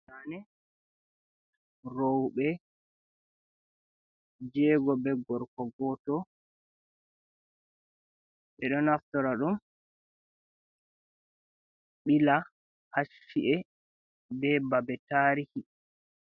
Zaane rowɓe jego be gorko goto, ɓeɗo naftora ɗum ɓila hacci’e be babe tarihi.